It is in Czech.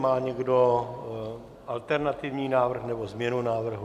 Má někdo alternativní návrh nebo změnu návrhu?